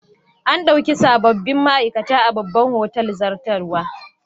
An dauki sabobbin ma'aikata a babban otal zartarwa.